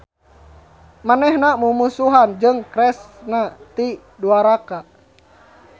Manehna mumusuhan jeung Kresna ti Dwaraka.